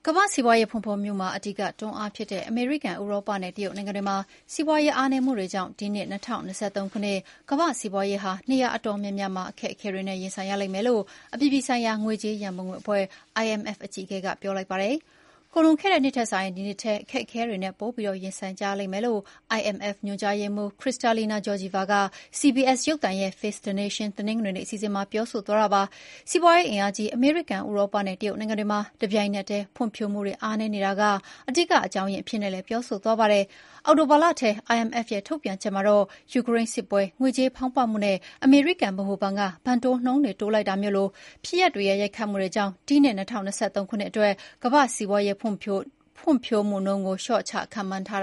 ကမ္ဘာ့စီးပွားရေး ဖွံ့ဖြိုးမှုမှာ အဓိကတွန်းအားဖြစ်တဲ့ အမေရိကန်၊ ဥရောပနဲ့ တရုတ်နိုင်ငံတွေမှာ စီးပွားရေး အားနည်းမှုတွေကြောင့် ဒီနှစ် ၂၀၂၃ ခုနှစ် ကမ္ဘာ့စီးပွားရေးဟာ နေရာတော်တော်များများမှာ အခက်အခဲတွေနဲ့ ရင်ဆိုင်ရလိမ့်မယ်လို့ အပြည်ပြည်ဆိုင်ရာ ငွေကြေးရန်ပုံငွေအဖွဲ့ IMF အကြီးအကဲက ပြောလိုက်ပါတယ်။ ကုန်လွန်ခဲ့တဲ့ နှစ်ထက်စာရင် ဒီနှစ်ထဲမှာ အခက်အခဲတွေနဲ့ ပိုပြီးရင်ဆိုင်ကြရလိမ့်မယ်လို့ IMF ညွှန်ကြားရေးမှူး Kristalina Georgieva က CBS ရုပ်သံရဲ့ "Face the Nation" တနင်္ဂနွေနေ့ အစီအစဉ်မှာ ပြောဆိုသွားတာပါ။ စီးပွားရေးအင်အားကြီး အမေရိကန်၊ ဥရောပနဲ့ တရုတ်နိုင်ငံတွေမှာ တပြိုင်နက်တည်း ဖွံ့ဖြိုးမှုတွေ အားနည်းနေတာက အဓိက အကြောင်းရင်း အဖြစ်နဲ့လည်း ပြောဆိုသွားပါတယ်။ အောက်တိုဘာလထဲ IMF ရဲ့ထုတ်ပြန်ချက်မှာတော့ ယူကရိန်းစစ်ပွဲ၊ ငွေကြေးဖောင်းပွမှုနဲ့ အမေရိကန် ဗဟိုဘဏ်က ဘဏ်တိုးနှုန်းတွေ တိုးလိုက်တာမျိုးလို ဖြစ်ရပ်တွေရဲ့ရိုက်ခတ်မှုတွေကြောင့် ဒီနှစ် ၂၀၂၃ ခုနှစ်အတွက် ကမ္ဘာ့စီးပွားရေး ဖွံ့ဖြိုးမှုနှုန်းကို လျှော့ချခန့်မှန်းထား